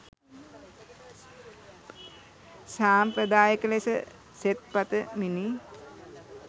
සාම්ප්‍රදායික ලෙස සෙත් පතමිනි